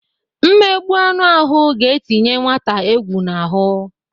Mmegbụ anụ ahụ ga-etinye nwata egwu n'ahụ.